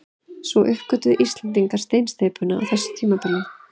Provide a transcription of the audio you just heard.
Svo uppgötvuðu Íslendingar steinsteypuna á þessu tímabili.